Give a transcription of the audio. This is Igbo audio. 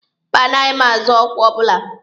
Mba, anaghị m azọ ọkwa ọbụla.